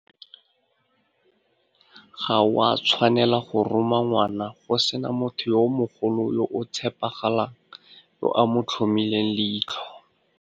Ga o a tshwanela go roma ngwana go sena motho yo mogolo yo o tshepagalang yo a mo tlhomileng leitlho.